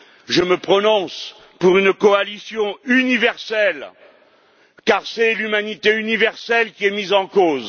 Je me prononce pour une coalition universelle, car c'est l'humanité universelle qui est mise en cause